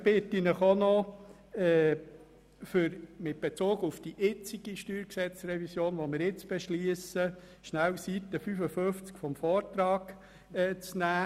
Mit Bezug auf die jetzt zu beschliessende StG-Revision, bitte ich Sie auch noch, kurz die Seite 55 im Vortrag anzuschauen.